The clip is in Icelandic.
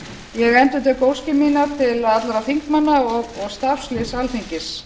ég endurtek óskir mínar til allra þingmanna og starfsliðs alþingis